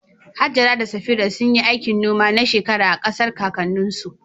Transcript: Hajara da Safira sun yi aikin noma na shekaru a ƙasar kakanninsu.